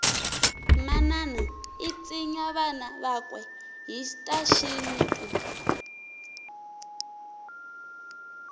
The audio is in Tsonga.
manana itsinya vana vakwe hhitashintu